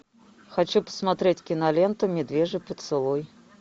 хочу посмотреть киноленту медвежий поцелуй